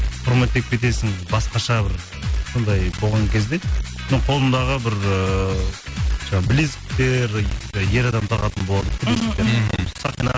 құрметтеп кетесің басқаша бір сондай болған кезде мен қолымдағы бір ыыы жаңағы білезіктер ер адам тағатын болады ғой білезік мхм сақина